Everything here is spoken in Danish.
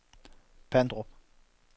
Pandrup